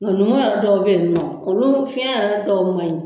Nunnu dɔw bɛ ye nɔ olu fiyɛn yɛrɛ dɔw man ɲi.